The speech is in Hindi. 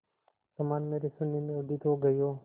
समान मेरे शून्य में उदित हो गई हो